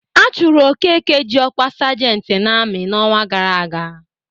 A chụrụ Okeke ji ọkwa sajentị n'amị n'ọnwa gara aga.